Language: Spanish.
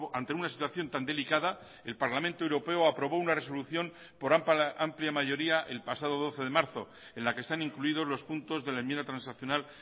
ante una situación tan delicada el parlamento europeo aprobó una resolución por amplia mayoría el pasado doce de marzo en la que están incluidos los puntos de la enmienda transaccional